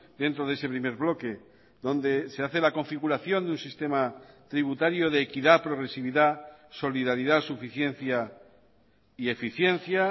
dentro de ese primer bloque donde se hace la configuración de un sistema tributario de equidad progresividad solidaridad suficiencia y eficiencia